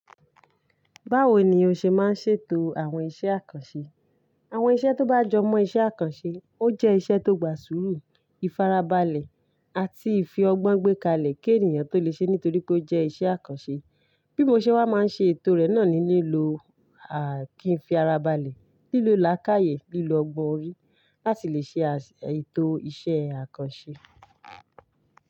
Báwo ni o ṣe máa ń ṣètò àwọn iṣẹ́ àkànṣe? Àwọn iṣẹ́ tó bá jọ mọ iṣẹ́ àkànṣe, ó jẹ́ iṣẹ́ tó gbà sùúrù, ìfarabalẹ̀ àti ìfi ọgbọ́n gbékalẹ̀ kí ènìyàn tó lè ṣe é nítorí pé ó jẹ́ iṣẹ́ àkànṣe. Bí mo ṣe wá máa ń ṣe ètò rẹ̀ náà ni lílo àkì Ìfarabalẹ̀, lílo làákàyè, lílo ọgbọ́n orí láti lè ṣe ètò iṣẹ́ àkànṣe.